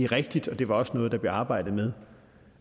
rigtigt og det var også noget der blev arbejdet